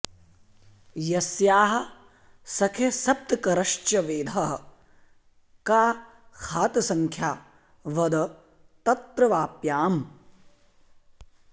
यस्याः सखे सप्तकरश्च वेधः का खातसंख्या वद तत्र वाप्याम्